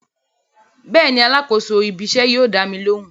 Bẹ́ẹ̀ni alákòóso ibí iṣẹ́ yóò dámi lóhùn